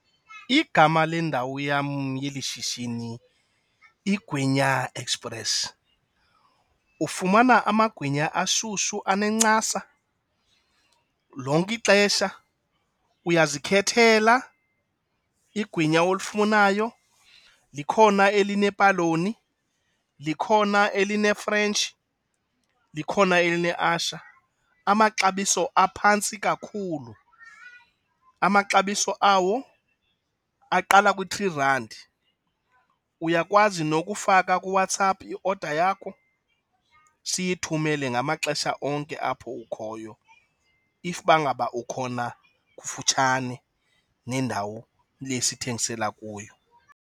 Igama lendawo yam yeli shishini, Ingwinya Express. Ufumana amagwinya ashushu, anencasa lonke ixesha, uyazikhethela ingwinya olifunayo. Likhona elinepaloni, likhona elinefrentshi, likhona elineasha. Amaxabiso aphantsi kakhulu, amaxabiso awo aqala kwi-three randi. Uyakwazi nokufaka kuWhatsApp i-order yakho siyithumele ngamaxesha onke apho ukhoyo if bangaba ukhona kufutshane nendawo le sithengisela kuyo.